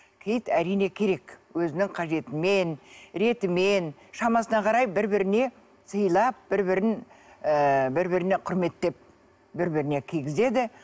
киіт әрине керек өзінің қажетімен ретімен шамасына қарай бір біріне сыйлап бір бірін ыыы бір біріне құрметтеп бір біріне кигізеді